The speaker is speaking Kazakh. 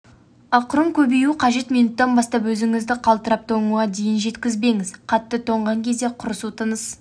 ақырын көбеюі қажет минуттан бастап өзіңізді қалтырап тоңуға дейін жеткізбеңіз қатты тоңған кезде құрысу тыныс